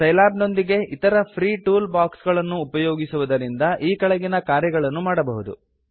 Scilab ನೊಂದಿಗೆ ಇತರ free tool box ಗಳನ್ನು ಉಪಯೋಗಿಸುವುದರಿಂದ ಈ ಕೆಳಗಿನ ಕಾರ್ಯಗಳನ್ನು ಮಾಡಬಹುದು